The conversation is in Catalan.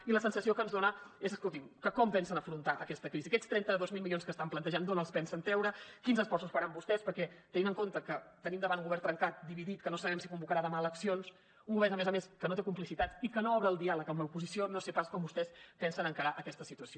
i la sensació que ens dona és escolti’m que com pensen afrontar aquesta crisi aquests trenta dos mil milions que estan plantejant d’on els pensen treure quins esforços faran vostès perquè tenint en compte que tenim davant un govern trencat dividit que no sabem si convocarà demà eleccions un govern a més a més que no té complicitats i que no obre el diàleg amb l’oposició no sé pas com vostès pensen encarar aquesta situació